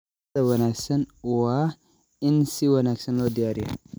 Cuntada wanaagsan waa in si wanaagsan loo diyaariyaa.